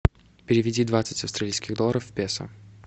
переведи двадцать австралийских долларов в песо